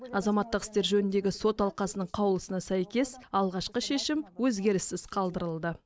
азаматтық істер жөніндегі сот алқасының қаулысына сәйкес алғашқы шешім өзгеріссіз қалдырылды